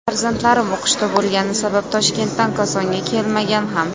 Farzandlarim o‘qishda bo‘lgani sabab Toshkentdan Kosonga kelmagan ham.